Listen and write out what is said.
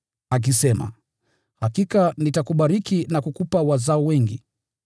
akisema, “Hakika nitakubariki na kukupa wazao wengi.”